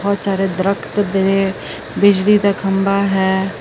ਬਹੁਤ ਸਾਰੇ ਦਰਖਤ ਦੇ ਬਿਜਲੀ ਦਾ ਖੰਭਾ ਹੈ।